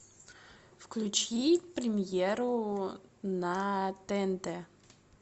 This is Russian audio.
включи премьеру на тнт